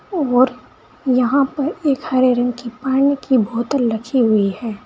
और यहां पर एक हरे रंग की पानी की बोतल रखी हुई है।